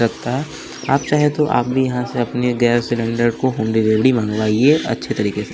लगता है आप चाहे तो आप भी यहाँ से अपने गैस सिलेंडर को होम डिलीवरी मंगवाइए अच्छे तरीके से।